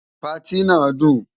Patí náà dùn.